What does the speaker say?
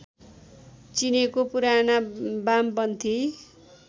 चिनेका पुराना बामपन्थी